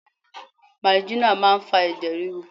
Marijuana máa ń fa ẹ̀jẹ̀ ríru.